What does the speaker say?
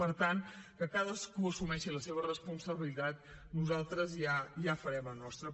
per tant que cadascú assumeixi la seva responsabilitat nosaltres ja farem la nostra